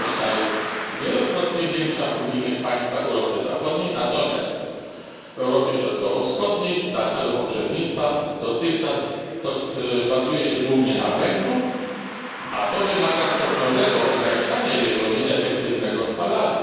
Ilość ta jest wielokrotnie większa w unijnych państwach Europy Zachodniej, natomiast w Europie Środkowo Wschodniej dla celów ogrzewnictwa dotychczas bazuje się głównie na węglu, a to wymaga stopniowego ograniczania jego nieefektywnego spalania.